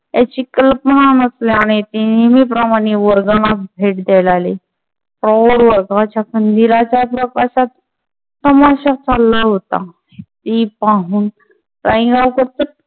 याची कल्पना नसल्याने ते नेहमीप्रमाणे वर्गाला भेट द्यायला आले. प्रौढ वर्गाच्या कंदीलाच्या प्रकाशात तमाशा चालला होता ते पाहून रायगावकर पटकन